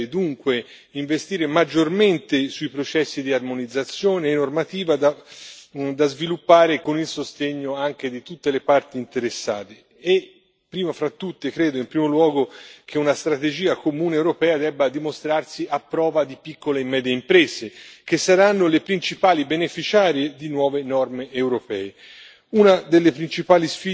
Io credo che l'Unione europea debba dunque investire maggiormente nei processi di armonizzazione normativa, da sviluppare anche con il sostegno di tutte le parti interessate. E, prima di tutto, credo in primo luogo che una strategia comune europea debba dimostrarsi a prova di piccole e medie imprese, che saranno le principali beneficiarie di nuove norme europee.